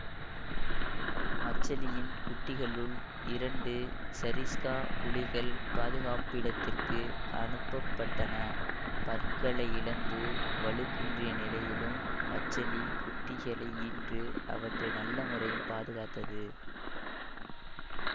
மச்சலியின் குட்டிகளுள் இரண்டு சரிஸ்கா புலிகள் பாதுகாப்பிடத்திற்கு அனுப்ப பட்டன பற்களை இழந்து வலுக்குன்றிய நிலையிலும் மச்சலி குட்டிகளை ஈன்று அவற்றை நல்ல முறையில் பாதுகாத்தது